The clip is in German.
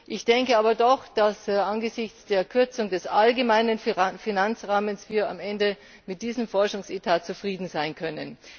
Ich denke aber doch, dass wir angesichts der Kürzung des allgemeinen Finanzrahmens am Ende mit diesem Forschungsetat zufrieden sein können.